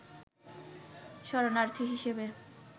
শরণার্থী হিসেবে